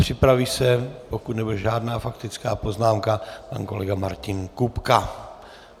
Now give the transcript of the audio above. Připraví se, pokud nebude žádná faktická poznámka, pan kolega Martin Kupka.